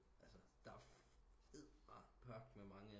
Altså der er edderperkme mange